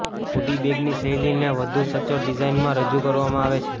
hoodie બેગની શૈલીને વધુ સચોટ ડિઝાઇનમાં રજૂ કરવામાં આવે છે